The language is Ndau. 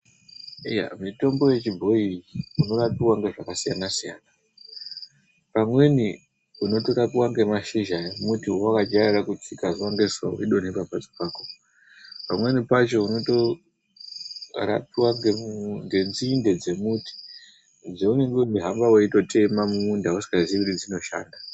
Iya mitombo yechibhoyi unorapiwa nezvakasiyana siyana. Pamweni unotorapiwa nemashizha emuti wawajaira kutsika zuwa ngezuwa ungori pamuzi pako. Pamweni pacho, unorapiwa ngenzinde dzemuti dzaunenge weihamba uchitema mumunda usingazivi kuti dzinoshanda.